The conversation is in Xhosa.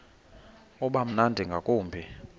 uba mnandi ngakumbi